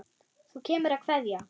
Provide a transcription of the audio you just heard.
Þú kemur að kveðja.